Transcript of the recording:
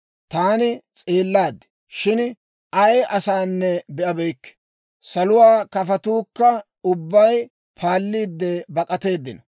Taani s'eellaad; shin ay asanne be'abeykke; saluwaa kafotuukka ubbay paalliide bak'ateeddino.